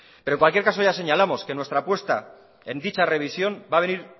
pero en cualquier caso ya señalamos que nuestra apuesta en dicha revisión va a venir